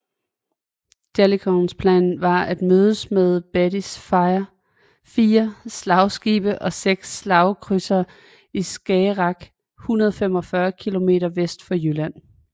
Jellicoes plan var at mødes med Beattys fire slagskibe og seks slagkrydsere i Skagerrak 145 kilometer vest for Jylland